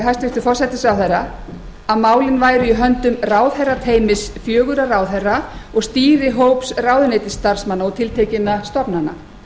hæstvirtur forsætisráðherra að málin væru í höndum ráðherrateymis fjögurra ráðherra og stýrihóps ráðuneytisstarfsmanna og tiltekinna stofnana